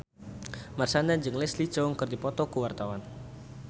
Marshanda jeung Leslie Cheung keur dipoto ku wartawan